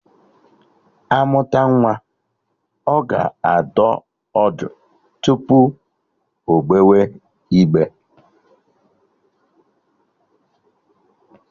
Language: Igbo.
Amụta nwa, ọ ga adọ ọdụ tupu ogbewe igbe